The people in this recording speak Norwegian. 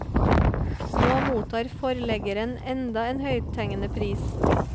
Nå mottar forleggeren enda en høythengende pris.